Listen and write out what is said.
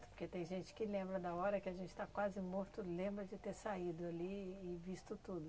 Porque tem gente que lembra da hora que a gente está quase morto, lembra de ter saído ali e visto tudo.